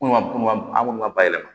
Komi an kɔni ka bayɛlɛma